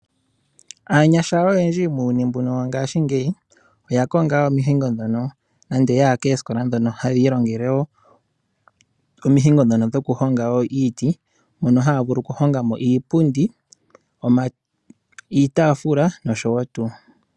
Aanyasha oyendji muuyuni mbuno wongaashingeyi, oya konga omihengo ndhono nande ya ya koosikola ndhono haya ilongele wo omihingo ndhono dhokuhonga wo iiti ndhono haa vulu okuhonga mo iipundi, iitafula nosho tuu.